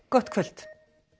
gott kvöld